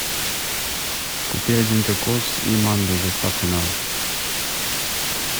купи один кокос и манго с доставкой на дом